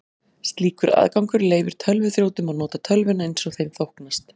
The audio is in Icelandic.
Slíkur aðgangur leyfir tölvuþrjótum að nota tölvuna eins þeim þóknast.